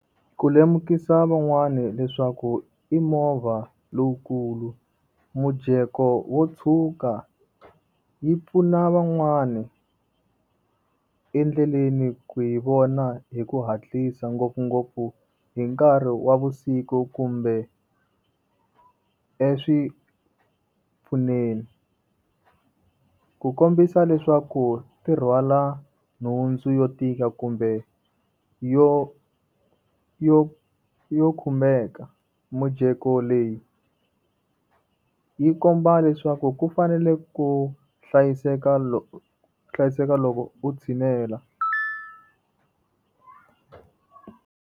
Ku lemukisa van'wani leswaku i movha lowukulu. Mujeko wo tshuka, yi pfuna van'wani endleleni ku hi vona hi ku hatlisa ngopfungopfu hi nkarhi wa vusiku kumbe . Ku kombisa leswaku ti rhwala nhundzu yo tika kumbe yo yo yo khumeka, mijeko leyi, yi komba leswaku ku fanele ku hlayiseka u hlayiseka loko u tshinela.